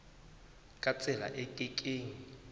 ka tsela e ke keng